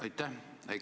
Aitäh!